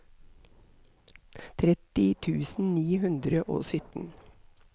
tretti tusen ni hundre og sytten